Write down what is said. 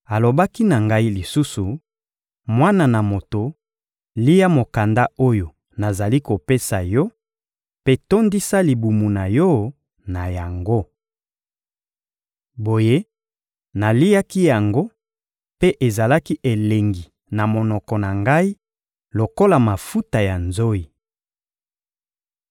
Alobaki na ngai lisusu: «Mwana na moto, lia mokanda oyo nazali kopesa yo mpe tondisa libumu na yo na yango.» Boye, naliaki yango, mpe ezalaki elengi na monoko na ngai lokola mafuta ya nzoyi.